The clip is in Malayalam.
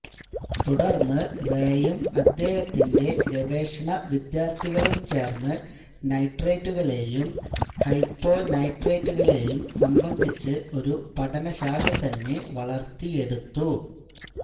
തുടർന്ന് റേ യും അദ്ദേഹത്തിന്റെ ഗവേഷണ വിദ്യാർത്ഥികളും ചേർന്ന് നൈട്രൈറ്റുകളെയും ഹൈപ്പൊനൈട്രൈറ്റുകളെയും സംബന്ധിച്ച് ഒരു പഠനശാഖ തന്നെ വളർത്തിയെടുത്തു